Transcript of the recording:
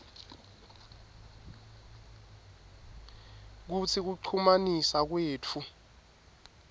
kutsi kuchumanisa kwetfu